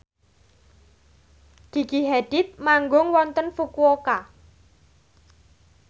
Gigi Hadid manggung wonten Fukuoka